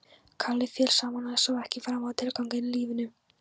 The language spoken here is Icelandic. Kalli féll saman og sá ekki framar tilganginn í lífinu.